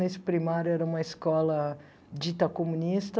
Nesse primário era uma escola dita comunista.